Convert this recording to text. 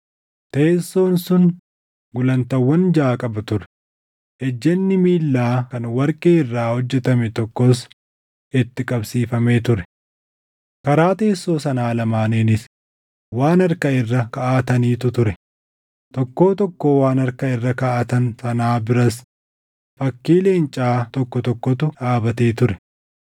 Teessoon sun gulantaawwan jaʼa qaba ture; ejjenni miillaa kan warqee irraa hojjetame tokkos itti qabsiifamee ture. Karaa teessoo sanaa lamaaniinis waan harka irra kaaʼatanitu ture; tokkoo tokkoo waan harka irra kaaʼatan sanaa biras fakkii leencaa tokko tokkotu dhaabatee ture.